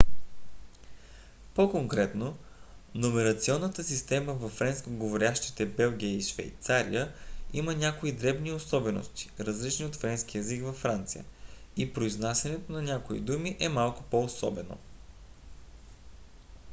по-конкретно номерационната система във френскоговорящите белгия и швейцария има някои дребни особености различни от френския език във франция и произнасянето на някои думи е малко по-особено